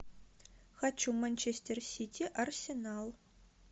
хочу манчестер сити арсенал